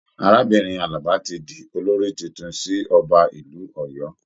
Arábìnrin Alaba tí di olórí títún sì ọba ìlú Ọ̀yọ́.